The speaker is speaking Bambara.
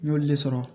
N y'olu le sɔrɔ